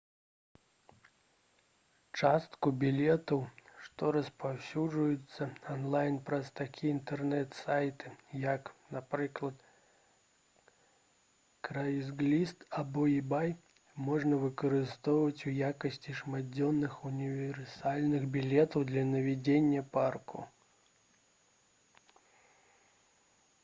частку білетаў што распаўсюджваюцца анлайн праз такія інтэрнэт-сайты як напрыклад craigslist або ebay можна выкарыстоўваць у якасці шматдзённых універсальных білетаў для наведвання парку